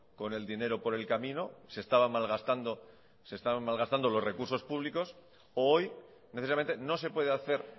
con el dinero por el camino se estaban malgastando los recursos públicos u hoy precisamente no se puede hacer